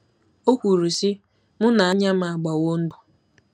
O kwuru, sị: “ Mụ na anya m agbawo ndụ.